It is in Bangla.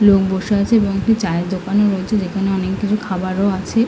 লোক বসে আছে এবং একটা চায়ের দোকানও রয়েছে যেখানে অনেক কিছু খাবার ও আছে--